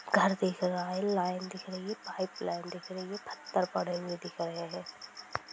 घर दिख रहा है| लाइन दिख रही है पाइपलाइन दिख रही है| पत्थर पड़े हुए दिख रहे है।